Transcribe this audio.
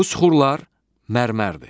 Bu süxurlar mərmərdir.